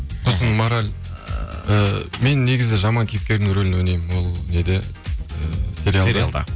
сосын мораль ы мен негізі жаман кейіпкердің рөлін ойнаймын ол неде сериалда